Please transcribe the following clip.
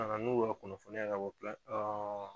na na n'u ka kunnafoniya ye ka bɔ